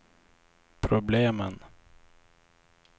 problemen